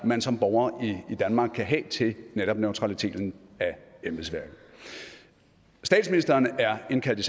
man som borger i danmark kan have til netop neutraliteten af embedsværket statsministeren er indkaldt